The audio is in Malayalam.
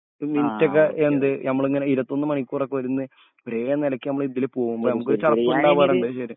നൈറ്റ് ഒക്കെ എന്ത് നമ്മളിങ്ങനെ ഇരുപത്തൊന്ന് മണിക്കൂറൊക്കെ ഇരുന്ന് ഒരേ നെലക്ക് നമ്മൾ ഇതില് പോവുമ്പൊ മ്മക്കൊരു ചടപ്പ്ണ്ടാവും പറേണ്ടത്‌ ശെരിയ